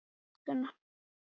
Viltu labba með mér niður eftir?